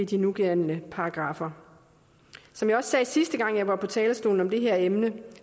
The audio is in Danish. de nugældende paragraffer som jeg også sagde sidste gang jeg var på talerstolen med det her emne